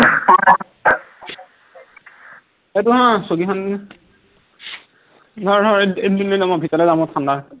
এইটো হা, চকীখন নিয়া ধৰ ধৰ এইটো এইটো লৈ যোৱা মই ভিতৰলে যাম বৰ ঠান্ডা হৈছে